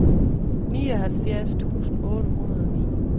nioghalvfjerds tusind otte hundrede og ni